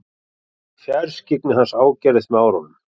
Fjarskyggni hans ágerðist með árunum.